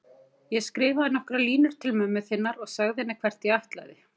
Ég skrifaði nokkrar línur til mömmu þinnar og sagði henni hvert ég ætlaði.